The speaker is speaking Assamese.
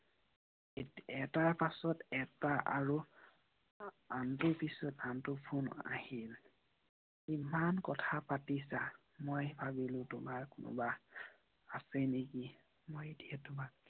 এটাৰ পিছত এটা আৰু আনটোৰ পিছত আনটো ফোন আহিল । মই ভাবিলো তোমাৰ কোনোবা আছে নেকি। মই এতিয়া তোমাক